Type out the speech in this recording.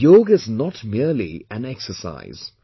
Yoga is not merely an exercise